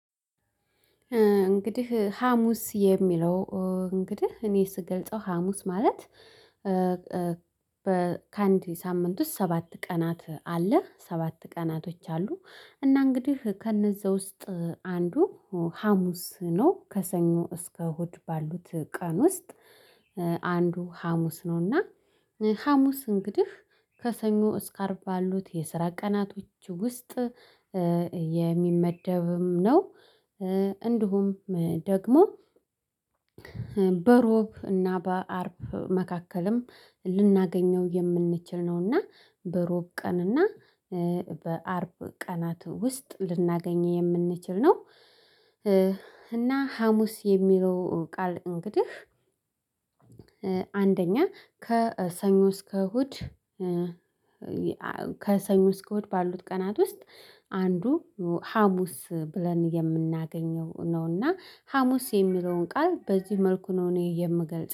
እንግዲህ ሀሙስ የሚለው እንግዲህ እኔ ስገልጸው ሀሙስ ማለት ከአንድ ሳምንት ውስጥ ሰባት ቀናት አለ ሰባት ቀናቶች አሉ። እና እንግዲህ ከእነዛ ውስጥ አንዱ ሀሙስ ነው ከሰኞ እስከ እሁድ ባሉት ቀን ውስጥ። አንዱ ሀሙስ ነውና። ሀሙስ እንግዲህ ከሰኞ እስከ አርባ ባሉት የስራ ቀናቶች ውስጥ የሚመደብም ነው። እንዲሁም ደግሞ በእሮብ እና በአርብ መካከልም ልናገኘው የምንችል ነውና በእሮብ ቀንና በአርብ ቀናት ውስጥ ልናገኝ የምንችል ነው። እና ሀሙስ የሚለው ቃል እንግዲህ አንደኛ ከሰኞ እስከ እሁድ እስከእሁድ ባሉት ቀናት ውስጥ አንዱ ሀሙስ ብለን የምናገኘው ነውና ሀሙስ የሚለውን ቃል በዚህ መልኩ ነው እኔ የምገልጸው